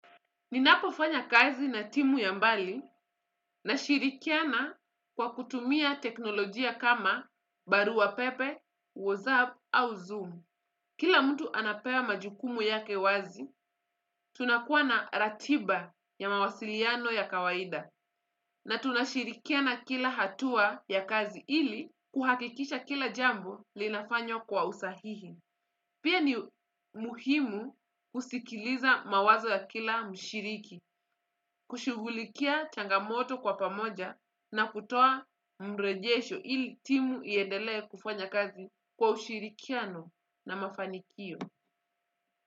Ninapofanya kazi na timu ya mbali nashirikiana kwa kutumia teknolojia kama barua pepe, WhatsApp au Zoom. Kila mtu anapewa majukumu yake wazi, tunakuwa na ratiba ya mawasiliano ya kawaida. Na tunashirikiana kila hatua ya kazi ili kuhakikisha kila jambo linafanywa kwa usahihi. Pia ni muhimu kusikiliza mawazo ya kila mshiriki, kushugulikia changamoto kwa pamoja na kutoa mrejesho ili timu iendelee kufanya kazi kwa ushirikiano na mafanikio.